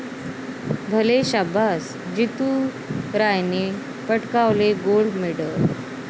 भले शाब्बास, जितू रायने पटकावले गोल्ड मेडल